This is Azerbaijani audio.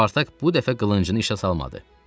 Spartak bu dəfə qılıncını işə salmadı.